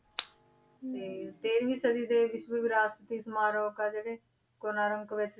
ਤੇ ਤੇਰਵੀਂ ਸਦੀ ਦੇ ਵਿਸ਼ਵ ਵਿਰਾਸ਼ਤੀ ਸਮਾਰਕ ਆ ਜਿਹੜੇ ਕੋਨਾਰਕ ਵਿੱਚ,